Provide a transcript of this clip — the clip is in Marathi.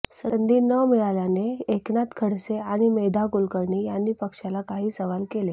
संधी न मिळाल्याने एकनाथ खडसे आणि मेधा कुलकर्णी यांनी पक्षाला काही सवाल केले